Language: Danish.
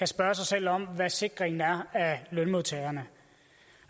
spørge sig selv om hvor sikringen af lønmodtagerne